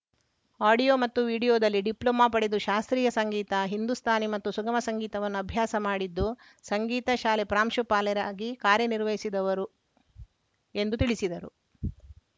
audio ಮತ್ತು ವಿಡಿಯೋದಲ್ಲಿ diploma ಪಡೆದು ಶಾಸ್ತ್ರಿಯ ಸಂಗೀತ ಹಿಂದೂಸ್ತಾನಿ ಮತ್ತು ಸುಗಮ ಸಂಗೀತವನ್ನು ಅಭ್ಯಾಸ ಮಾಡಿದ್ದು ಸಂಗೀತ ಶಾಲೆ ಪ್ರಾಂಶುಪಾಲರಾಗಿ ಕಾರ‍್ಯನಿರ್ವಸಿದವರು ಎಂದು ತಿಳಿಸಿದರು